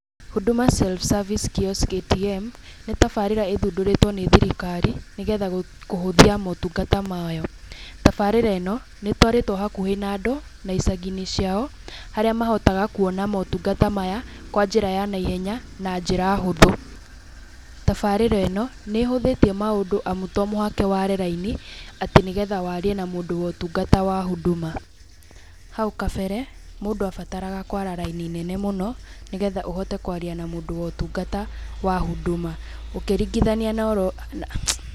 Huduma Self Service Kiosk ATM, nĩ tabarĩra ĩthundũrĩtwo nĩ thirikari, nĩgetha kũhũthia motungata mayo, tabarĩra ĩno nĩ ĩtwarĩtwo hakuhĩ na andũ na icagi-inĩ ciao, harĩa mahotaga kuona motungata maya kwa njĩra ya naihenya na njĩra hũthũ. Tabarĩra ĩno, nĩ ĩhũthĩtie maũndũ amu to mũhaka waare raini atĩ, nĩgetha warie na mũndũ wotungata wa Huduma. Hau kabere, mũndũ abataraga kwara raini nene mũno, nĩgetha ũhote kwaria na mũndũ wotungata wa Huduma, ũkĩringithania na oro...